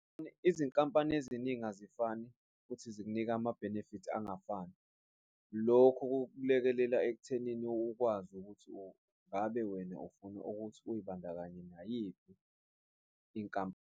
Izinkampani eziningi azifani futhi zikunika ama-benefits angafani. Lokho kulekelela ekuthenini ukwazi ukuthi ngabe wena ufuna ukuthi uzibandakanye nayiphi inkampani.